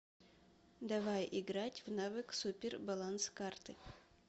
давай играть в навык супер баланс карты